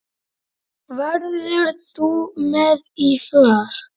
Verður þú með í för?